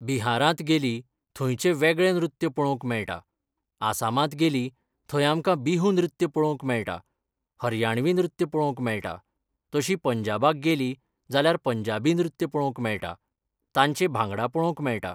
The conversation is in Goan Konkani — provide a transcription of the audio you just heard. बिहारांत गेलीं, थंयचें वेगळें नृत्य पळोवंक मेळटा, आसामांत गेलीं थंय आमकां बिहू नृत्य पळोवंक मेळटा, हरयाणवी नृत्य पळोवंक मेळटा, तशीं पंजाबाक गेलीं जाल्यार पंजाबी नृत्य पळोवंक मेळटा, तांचे भांगडा पळोवंक मेळटा.